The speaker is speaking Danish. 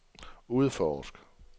udforsk